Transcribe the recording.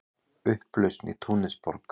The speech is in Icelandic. Upplausn í Túnisborg